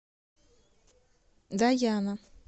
даяна